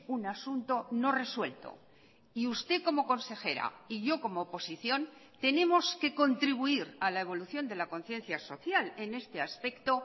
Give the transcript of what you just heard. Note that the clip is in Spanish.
un asunto no resuelto y usted como consejera y yo como oposición tenemos que contribuir a la evolución de la conciencia social en este aspecto